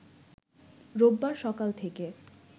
রোববার সকাল থেকে